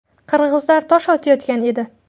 Qirg‘izlar tosh otayotgan edi.